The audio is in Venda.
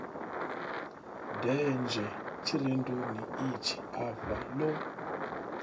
denzhe tshirendoni itshi afha lo